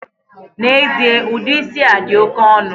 Na-ezie, udi isi a di oke onu.